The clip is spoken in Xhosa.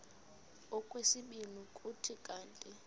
okwesibini kuthi kanti